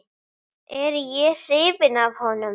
Er ég hrifinn af honum?